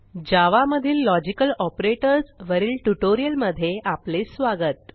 जावा मधील logical operators वरील ट्युटोरियलमधे आपले स्वागत